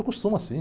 Acostuma sim.